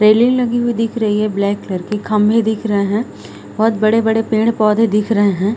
Railing लगी हुई दिख रही है ब्लैक क्लर की खम्भे दिख रहें हैं बहुत बड़े-बड़े पेड़-पौधे दिख रहें हैं।